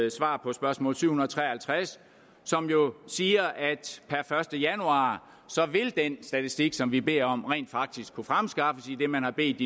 et svar på spørgsmål syv hundrede og tre og halvtreds som jo siger at per første januar vil den statistik som vi beder om rent faktisk kunne fremskaffes idet man har bedt